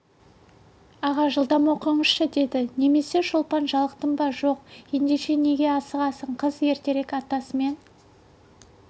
аға жылдам оқыңызшы деді немене шолпан жалықтың ба жоқ ендеше неге асығасың қыз ертерек атасы мен